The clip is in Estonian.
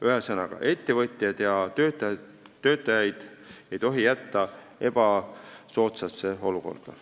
Ühesõnaga, ettevõtjaid ja töötajaid ei tohi jätta ebasoodsasse olukorda.